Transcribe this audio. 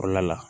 Kɔrɔla la